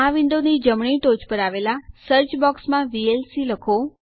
આ વિન્ડોની જમણી ટોચ પર આવેલા સર્ચ બોક્સ માં વીએલસી લખો